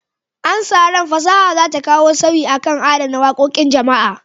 Ana sa ran fasaha za ta kawo sauyi kan adana wakokin jama'a.